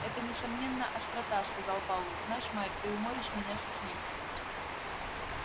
это несомненно острота сказал пауэлл знаешь майк ты уморишь меня со смеху